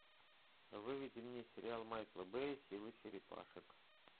выведи мне сериал майкла бэя силы черепашек